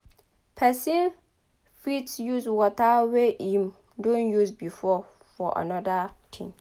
Person fit use water wey im don use before for anoda thing